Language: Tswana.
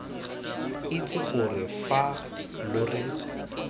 itse gore fa lo re